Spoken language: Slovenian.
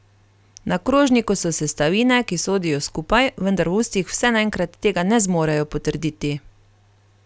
Na krožniku so sestavine, ki sodijo skupaj, vendar v ustih vse naenkrat tega ne zmorejo potrditi.